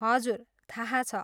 हजुर, थाहा छ।